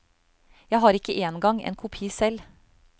Jeg har ikke engang en kopi selv.